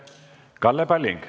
Kalle Palling.